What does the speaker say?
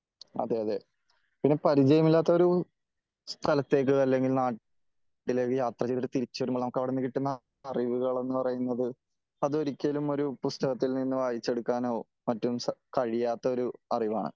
അതേ അതേ പിന്നെ പരിചയമില്ലാത്ത ഒരു സ്ഥലത്തേക്ക് അല്ലെങ്കിൽ നാട്ടിലേക്ക് യാത്ര ചെയ്തിട്ട് തിരിച്ചു വരുമ്പോ നമുക്കവിടുന്നു കിട്ടുന്ന അറിവുകൾ എന്ന് പറയുന്നത് അത് ഒരിക്കലും ഒരു പുസ്തകത്തില് നിന്ന് വായിച്ചെടുക്കാനോ മറ്റും കഴിയാത്ത ഒരു അറിവാണ് .